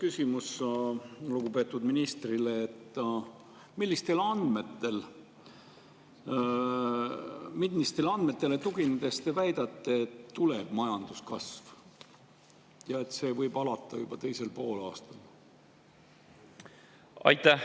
Mul oleks lugupeetud ministrile selline küsimus: millistele andmetele tuginedes te väidate, et tuleb majanduskasv ja et see võib alata juba teisel poolaastal?